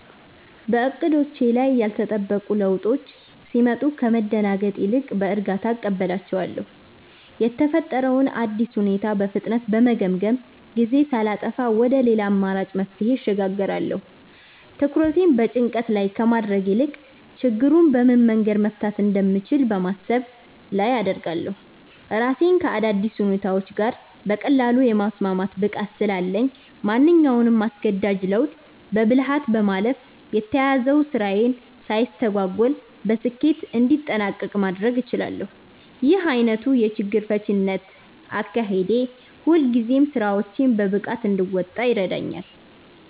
በዕቅዶቼ ላይ ያልተጠበቁ ለውጦች ሲመጡ ከመደናገጥ ይልቅ በእርጋታ እቀበላቸዋለሁ። የተፈጠረውን አዲስ ሁኔታ በፍጥነት በመገምገም፣ ጊዜ ሳላጠፋ ወደ ሌላ አማራጭ መፍትሄ እሸጋገራለሁ። ትኩረቴን በጭንቀት ላይ ከማድረግ ይልቅ ችግሩን በምን መንገድ መፍታት እንደምችል በማሰብ ላይ አደርጋለሁ። ራሴን ከአዳዲስ ሁኔታዎች ጋር በቀላሉ የማስማማት ብቃት ስላለኝ፣ ማንኛውንም አስገዳጅ ለውጥ በብልሃት በማለፍ የተያዘው ስራዬ ሳይስተጓጎል በስኬት እንዲጠናቀቅ ማድረግ እችላለሁ። ይህ ዓይነቱ የችግር ፈቺነት አካሄዴ ሁልጊዜም ስራዎቼን በብቃት እንድወጣ ይረዳኛል።